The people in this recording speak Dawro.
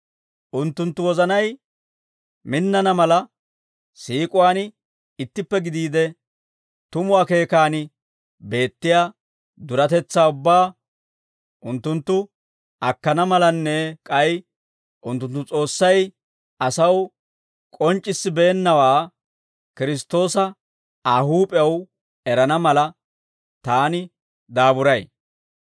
Unttunttu wozanay minnana mala, siik'uwaan ittippe gidiide, tumu akeekan beettiyaa duretetsaa ubbaa unttunttu akkana malanne k'ay unttunttu S'oossay asaw k'onc'c'issibeennawaa, Kiristtoosa Aa huup'ew erana mala, taani daaburay.